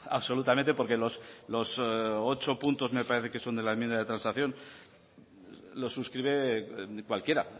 absolutamente porque los ocho puntos me parece que son de la enmienda de transacción los suscribe cualquier